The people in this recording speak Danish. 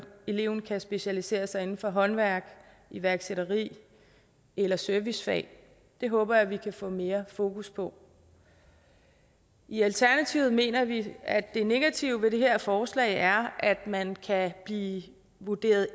eleven kan specialisere sig inden for håndværk iværksætteri eller servicefag det håber jeg vi kan få mere fokus på i alternativet mener vi at det negative ved det her forslag er at man kan blive vurderet